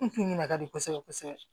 N kun ɲinigado kosɛbɛ kosɛbɛ